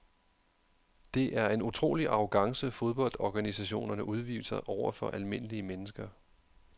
Det er en utrolig arrogance fodboldorganisationerne udviser over for almindelige mennesker.